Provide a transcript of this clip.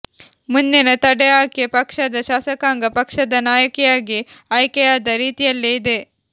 ಮುಂದಿನ ತಡೆ ಆಕೆ ಪಕ್ಷದ ಶಾಸಕಾಂಗ ಪಕ್ಷದ ನಾಯಕಿಯಾಗಿ ಆಯ್ಕೆಯಾದ ರೀತಿಯಲ್ಲೇ ಇದೆ